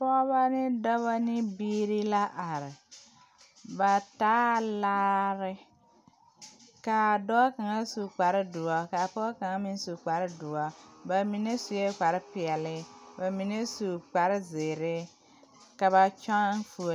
Pɔɔbɔ ne dɔbɔ ne biire la are ba taa laare kaa dɔɔ kaŋa su kparedoɔre kaa pɔge kaŋa meŋ su kparedoɔre ba mine suee kparepeɛle ba mine su kparezeere ka ba kyɔŋ fuole.